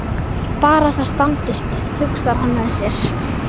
Bara það standist, hugsar hann með sér.